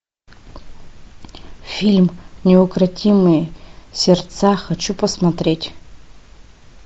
фильм неукротимые сердца хочу посмотреть